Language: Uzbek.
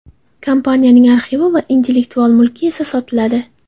Kompaniyaning arxivi va intellektual mulki esa sotiladi.